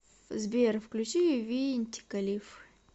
сбер включи винтика лиф